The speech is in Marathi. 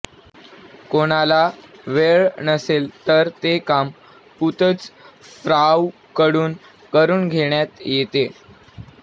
कोणाला वेळ नसेल तर ते काम पुत्झफ्राऊकडून करून घेण्यात येते